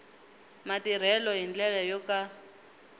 matirhelo hi ndlela yo ka